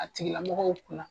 A tigi lamɔgɔw kun na.